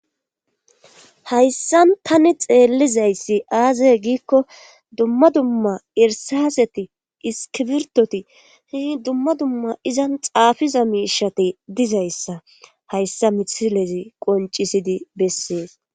Hayssan tani xeellizayssi aazaye giikko dumma dumma irsaseti iskibirtoti hihi dumma dumma izan xaafiza miishati dizayssa hayssa mithilezi qoncisidi bessees.